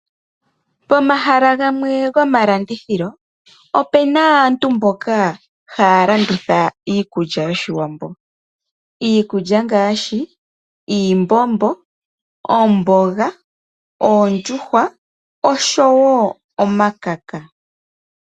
Pomahala gamwe gomalandithilo opena aantu mboka haya landitha iikulya yOshiwambo. Iikulya ngaashi iimbombo, omboga, oondjuhwa oshowo omakaka.